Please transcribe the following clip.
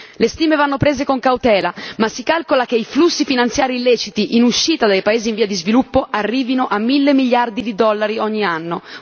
Le stime vanno prese con cautela ma si calcola che i flussi finanziari illeciti in uscita dai paesi in via di sviluppo arrivino a mille miliardi di dollari ogni anno.